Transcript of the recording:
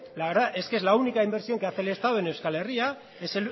la verdad es que es la única inversión que hace el estado en euskal herria